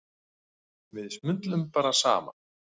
Við smullum bara saman.